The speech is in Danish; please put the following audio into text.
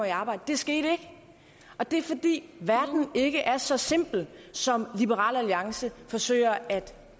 i arbejde det skete ikke og det er fordi verden ikke er så simpel som liberal alliance forsøger at